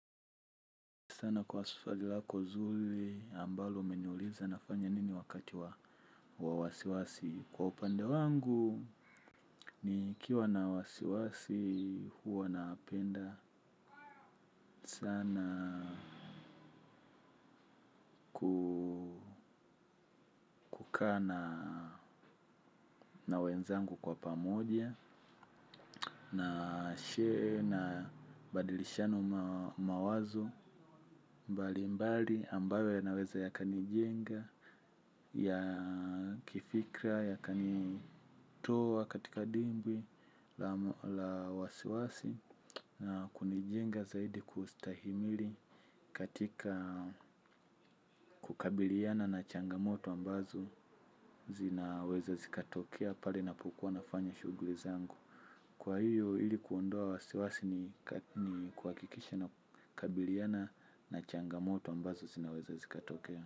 Sana kwa swali lako zuri ambalo umeniuliza nafanya nini wakati wa wasiwasi. Kwa upande wangu, nikiwa na wasiwasi huwa napenda sana kukaa na na wenzangu kwa pamoja, na share, na badilishana mawazo, mbali mbali ambayo yanaweza yakanijenga, yakifikra, ya kanitoa katika dimbwi la wasiwasi na kunijenga zaidi kustahimili katika kukabiliana na changamoto ambazo zinaweza zikatokea pale napokua nafanya shughuli zangu. Kwa hiyo ilikuondoa wasiwasi ni kuhakikisha na kukabiliana na changamoto ambazo zinaweza zikatokea.